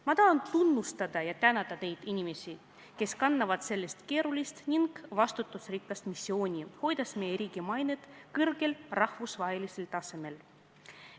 Ma tahan tunnustada ja tänada neid inimesi, kes kannavad sellist keerulist ning vastutusrikast missiooni, hoides meie riigi rahvusvahelist mainet.